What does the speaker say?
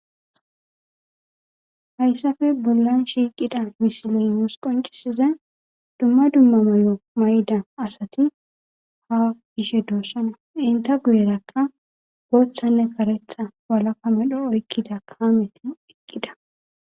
Hayssafe bollan shiiqida misiley nuus qonccisizay dumma dumma mayo mayida asati ha yishe doosana. EnTta guyerakka booththanne karetha walakka medho oykkida kaameti eqqida